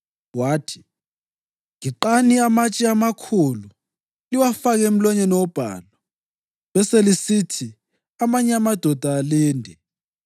wathi, “Giqani amatshe amakhulu liwafake emlonyeni wobhalu, beselisithi amanye amadoda alinde.